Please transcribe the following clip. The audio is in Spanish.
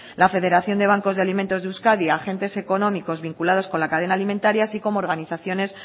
la federación de bancos de alimentos de euskadi agentes económicos vinculados con la cadena alimentaria así como organizaciones